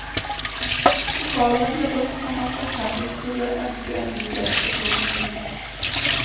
Pokalene ble brukt når man for eksempel skulle ønske en ny gjest velkommen i huset.